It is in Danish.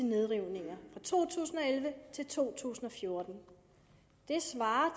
nedrivninger fra to tusind og elleve til to tusind og fjorten det svarer